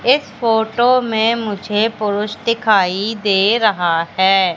इस फोटो में मुझे पुरुष दिखाई दे रहा है।